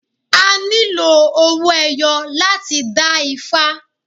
A nílò owó ẹyọ láti dá ifá